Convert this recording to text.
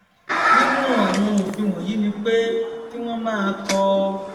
nínú àwọn òfin wọnyí ni pé kí wọn máa kọ